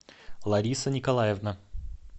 лариса николаевна